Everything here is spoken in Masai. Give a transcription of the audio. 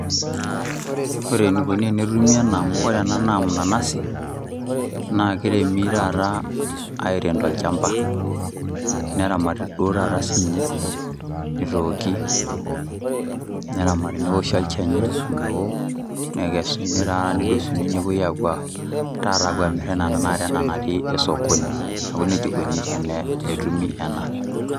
Ore enikoni te netumi ena amu ena naa mnanazi naa kiremi taata airem tolchamba neramati duo taata sii ninye, nitooki neramati neoshi olchani omeo nikesuni taata nedosuni taata nepuoi taata apuo aamir enaa taata enatio osokoni neaku nejia ikoni tenetumi ena.